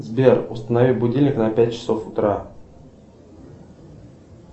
сбер установи будильник на пять часов утра